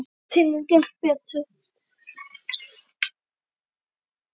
Í þriðju tilraun gekk betur.